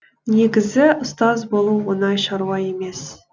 негізі ұстаз болу оңай шаруа емес